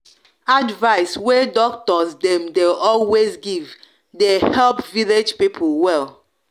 advice wey doctors dem de always give de help village pipul well